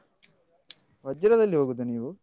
ವಜ್ರದಲ್ಲಿ ಹೋಗುದ ನೀವು?